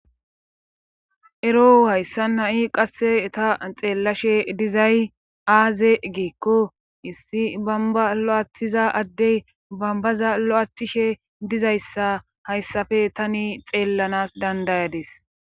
Ero hayssa nai qasse ta xeellashe dizay aaze giikko issi bamba lo7aaththiza addey bambaza lo7aaththishe dizayssa hayssafe tani xeellanas dandayadis